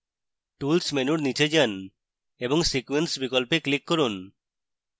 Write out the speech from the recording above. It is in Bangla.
tools menu নীচে যান এবং sequence বিকল্পে click করুন